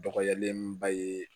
Dɔgɔyalenba ye